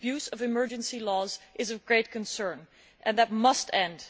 The abuse of emergency laws is of great concern. That must end.